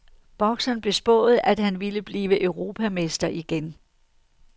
Bokseren blev spået, at han ville blive europamester igen.